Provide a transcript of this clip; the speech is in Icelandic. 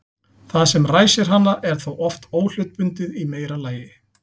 Það sem ræsir hana er þá oft óhlutbundið í meira lagi.